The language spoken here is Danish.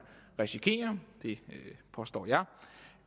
risikere og det påstår jeg